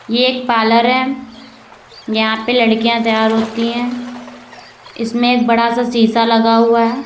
ये एक पार्लर है यहां पे लड़कियां तैयार होती हैं इसमें एक बडा सा शीशा लगा हुआ है।